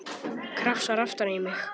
Krafsar aftan í mig.